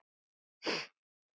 Elsku Halldór okkar.